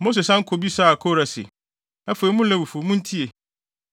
Mose san bisaa Kora se, “Afei mo Lewifo, muntie!